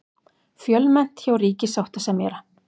Fjölmennt hjá ríkissáttasemjara